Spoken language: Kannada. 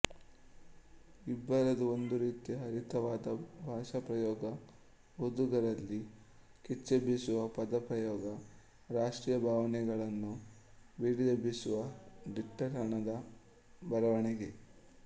ಇಬ್ಬರದೂ ಒಂದು ರೀತಿಯ ಹರಿತವಾದ ಭಾಷಾಪ್ರಯೋಗ ಓದುಗರಲ್ಲಿ ಕಿಚ್ಚೆಬ್ಬಿಸುವ ಪದ ಪ್ರಯೋಗ ರಾಷ್ಟ್ರೀಯ ಭಾವನೆಗಳನ್ನು ಬಡಿದೆಬ್ಬಿಸುವ ದಿಟ್ಟತನದ ಬರವಣಿಗೆ